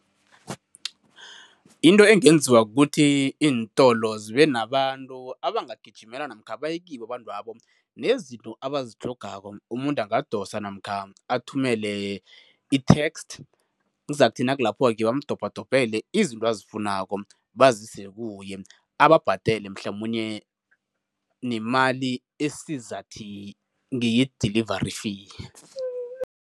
Into engenziwa kukuthi iintolo zibe nabantu abangagijimela namkha baye kibo abantwabo nezinto abazitlhogako. umuntu ungadosa namkha athumele i-text, kuzakuthi nakulapho-ke amdobhadobhele izinto azifunako, bazise kuye, ababhadele mhlamunye nemali esizathi ngeye-delivery fee.